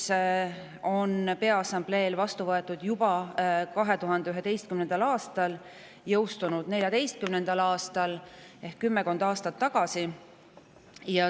See on Peaassambleel vastu võetud juba 2011. aastal ja jõustunud 2014. aastal ehk kümmekond aastat tagasi.